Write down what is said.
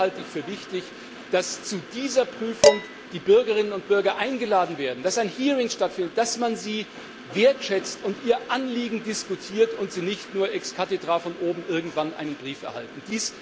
Und hier halte ich für wichtig, dass zu dieser Prüfung die Bürgerinnen und Bürger eingeladen werden, dass ein Hearing stattfindet, dass man sie wertschätzt und ihr Anliegen diskutiert und sie nicht nur ex cathedra von oben irgendwann einen Brief erhalten.